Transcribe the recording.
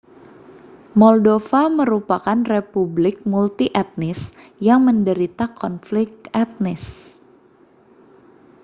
moldova merupakan republik multietnis yang menderita konflik etnis